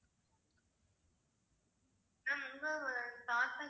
ma'am தாத்தா